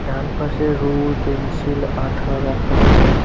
ডানপাশে rule pencil আঠা রাখা আছে।